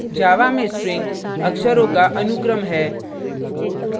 java में string अक्षरों का अनुक्रम है